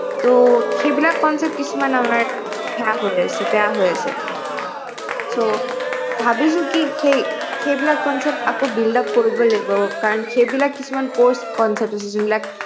সেইবিলাক concept কিছুমান আমাৰ সেয়া হৈ আছে বেয়া হৈ আছে so ভাবিছো কি সেইবিলাক concept আকৌ buildup কৰিবই লাগিব কাৰণ সেইবিলাক কিছুমান course